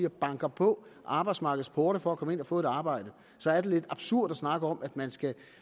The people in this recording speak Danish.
og banker på arbejdsmarkedets porte for at komme ind og få et arbejde så er lidt absurd at snakke om at man skal